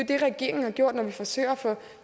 det regeringen har gjort når vi forsøger at få